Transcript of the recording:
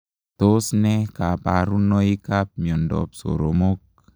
Tos ne kabarunoik ap miondoop soromok?